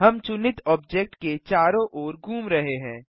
हम चुनित ऑब्जेक्ट के चारों ओर घूम रहे हैं